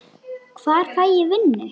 Hvar fæ ég vinnu?